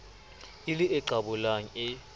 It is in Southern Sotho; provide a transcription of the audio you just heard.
e le e qabolang e